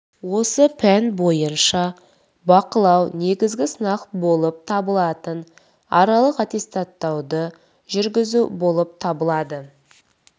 осы пән бойынша бақылау негізі сынақ болып табылатын аралық аттестаттауды жүргізу болып табылады